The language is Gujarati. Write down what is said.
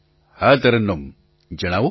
પ્રધાનમંત્રી હા તરન્નુમ જણાવો